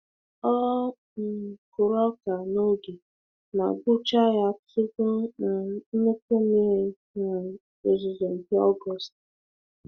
Ọ um kụrụ ọka n'oge ma gbuchaa ya tupu um nnukwu mmiri um ozuzo nke Ọgọst.